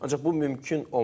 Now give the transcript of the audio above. Ancaq bu mümkün olmur.